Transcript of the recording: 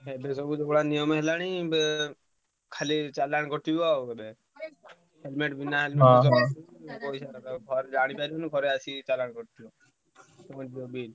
ଏବେ ସବୁ ଯୋଉଭଳିଆ ନିୟମ ହେଲାଣି ବେ ଖାଲି ଚାଲାଣ କଟିବ ଆଉ helmet ବିନା helmet ପଇସା ନବ ଜାଣିପାରିବୁନି ଘରେ ଆସିକି ଚାଲାଣ କଟିଥିବ ପୁଣି ବୋବେଇବୁ।